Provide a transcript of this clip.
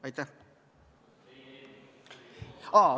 Aitäh!